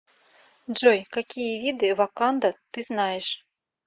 джой какие виды ваканда ты знаешь